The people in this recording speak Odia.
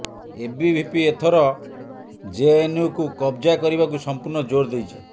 ଏବିଭିପି ଏଥର ଜେଏନ୍ୟୁକୁ କବ୍ଜା କରିବାକୁ ସମ୍ପୂର୍ଣ୍ଣ ଜୋର ଦେଇଛି